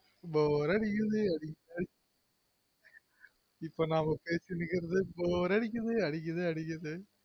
Bore அடிக்குது இப்பொ நம பேசிடிருக்குறது bore அடிக்குது அடிக்குது